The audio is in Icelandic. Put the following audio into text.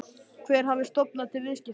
Hver hafi stofnað til viðskiptanna?